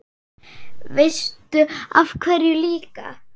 Veistu af hverju líka?